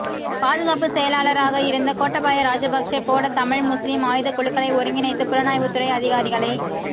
பாதுகாப்பு செயலாளராக இருந்த கோட்டாபயா ராஜபக்சே போட தமிழ் முஸ்லீம் ஆயுத குழுக்களை ஒருங்கிணைத்து புலனாய்வு துறை அதிகாரிகளை